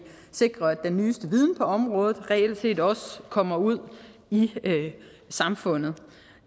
sikrer at den nyeste viden på området reelt set også kommer ud i samfundet